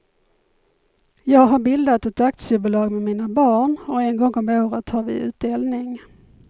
Jag har bildat ett aktiebolag med mina barn och en gång om året har vi utdelning.